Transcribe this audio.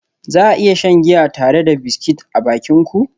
Za a iya shan giya tare da biscuit a bakin ku?